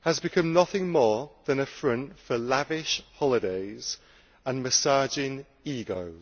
has become nothing more than a front for lavish holidays and massaging egos.